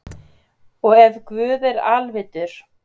og ef guð er alvitur